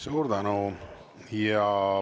Suur tänu!